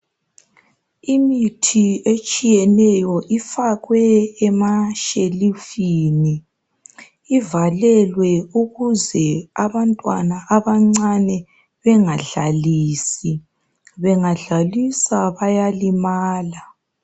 Imithi etshiyeneyo ifakwe emashelufini. Ivalelwe ukuze abantwana abancane bengadlalisi. Bengadlalisa bayalimala.